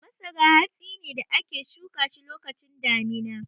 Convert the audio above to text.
Masara hatsi ne da ake shuka shi lokacin damina.